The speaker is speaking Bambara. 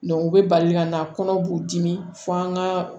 u bɛ bali ka na kɔnɔ b'u dimi fo an ka